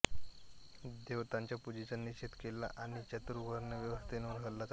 देवतांच्या पूजेचा निषेध केला आणि चातुर्वर्ण्य व्यवस्थेवर हल्ला चढविला